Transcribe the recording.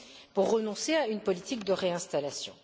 pour renoncer à une politique de réinstallation.